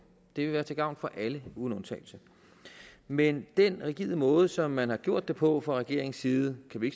det vil være til gavn for alle uden undtagelse men den rigide måde som man har gjort det på fra regeringens side kan vi